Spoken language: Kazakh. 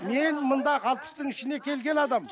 мен мұнда алпыстың ішіне келген адаммын